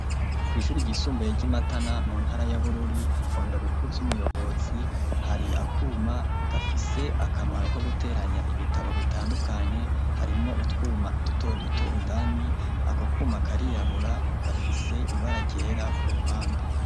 Kw'ishuri ry'isumbuye ryi Matana muntara ya Bururi ,mubiro Bukuru vy'umuyobozi hari akuma gafise akamaro ko guteranya ibitabo bitandukanye, harimwo utwuma dutoduto indani, ako Kuma karirabura gafise ibara ryera kuruhande.